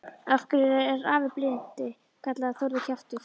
Af hverju er afi blindi kallaður Þórður kjaftur?